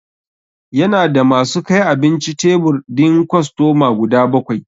Ya na da ma su kai abinci tebur din kostoma guda bakwai.